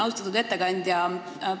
Austatud ettekandja!